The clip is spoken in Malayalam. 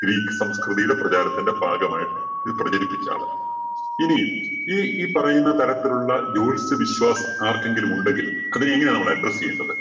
greek സംസ്കൃതിയുടെ പ്രചാരത്തിന്റെ ഭാഗമായിട്ട് ഇത് പ്രചരിപ്പിച്ച ആള്. ഇനി ഈ ഈ പറയുന്ന തരത്തിലുള്ള ജോത്സ്യവിശ്വാസം ആർക്കെങ്കിലും ഉണ്ടെങ്കിൽ അതിന് എങ്ങനെയാണ് നമ്മള് address ചെയ്യേണ്ടത്?